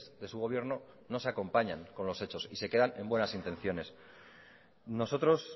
de su gobierno no se acompañan con los hechos y se quedan en buenas intenciones nosotros